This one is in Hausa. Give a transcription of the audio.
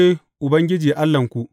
Ni ne Ubangiji Allahnku.’